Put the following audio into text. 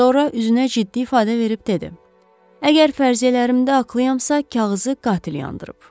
Sonra üzünə ciddi ifadə verib dedi: Əgər fərziyyələrimdə haqlıyamsa, kağızı qatil yandırıb.